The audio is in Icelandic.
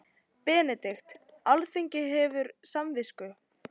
BENEDIKT: Alþingi hefur samvisku.